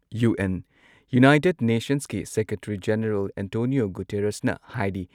UN. United ꯅꯦꯁꯟꯁꯀꯤ secretary general Antonio ꯒꯨꯇꯦꯔꯁꯅ ꯍꯥꯏꯔꯤ